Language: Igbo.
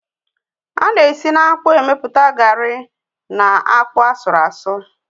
Á na esi na-akpụ emepụta garri and akpụ asurụ asu